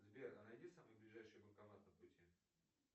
сбер а найди самый ближайший банкомат по пути